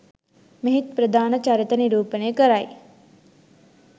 මෙහි ප්‍රධාන චරිත නිරූපණය කරයි.